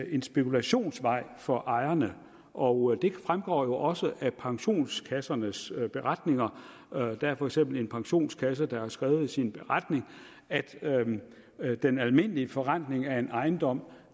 en spekulationsvej for ejerne og det fremgår jo også af pensionskassernes beretninger der er for eksempel en pensionskasse der har skrevet i sin beretning at at den almindelige forrentning af en ejendom